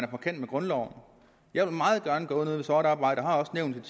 på kant med grundloven jeg vil meget gerne gøre noget ved sort arbejde og har også nævnt et